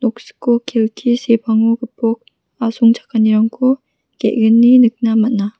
kelki sepango gipok asongchakanirangko ge·gni nikna man·a.